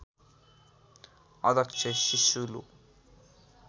अध्यक्ष सिसुलु